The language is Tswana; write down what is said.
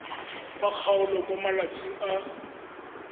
wa kgaolo mo malatsing a